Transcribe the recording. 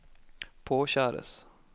påkjæres